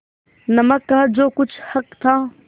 नमक का जो कुछ हक था